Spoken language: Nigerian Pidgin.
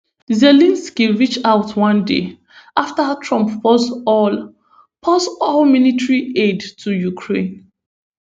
zelensky reach out one day after trump pause all pause all military aid to ukraine